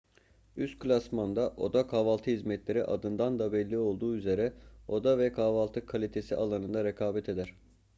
üst klasmanda oda kahvaltı hizmetleri adından da belli olduğu üzere oda ve kahvaltı kalitesi alanında rekabet eder